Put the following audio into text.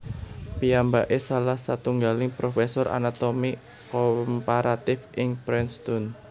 Piyambaké salah satunggaling profesor anatomi komparatif ing Princeton